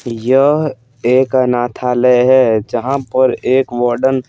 यह एक अनाथालय है जहाँ पर एक वॉर्डन --